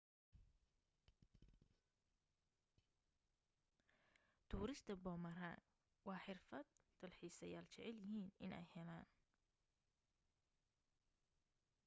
tuurista boomerang waa xirfad dalxiisayaal jecel yihiin inay helaan